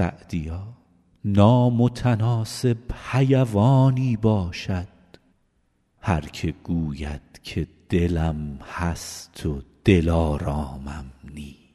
سعدیا نامتناسب حیوانی باشد هر که گوید که دلم هست و دلآرامم نیست